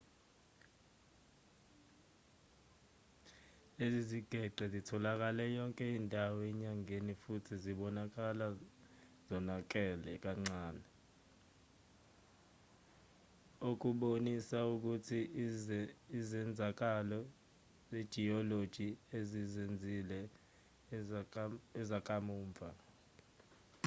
lezi zigeqe zitholakale yonke indawo enyangeni futhi zibonakala zonakele kancane okubonisa ukuthi izenzakalo zejiyoloji ezizenzile ezakamuva